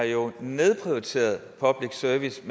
jo har nedprioriteret public service